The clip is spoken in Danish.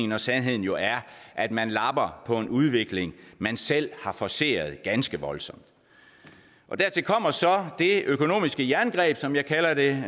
når sandheden jo er at man lapper på en udvikling man selv har forceret ganske voldsomt dertil kommer så det økonomiske jerngreb som jeg kalder det